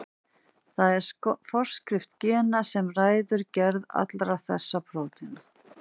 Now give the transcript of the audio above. Það er forskrift gena sem ræður gerð allra þessara prótína.